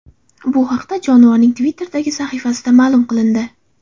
Bu haqda jonivorning Twitter’dagi sahifasida ma’lum qilindi.